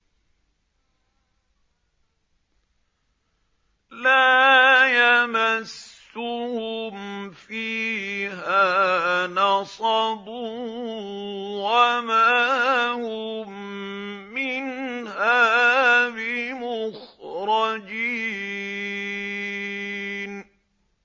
لَا يَمَسُّهُمْ فِيهَا نَصَبٌ وَمَا هُم مِّنْهَا بِمُخْرَجِينَ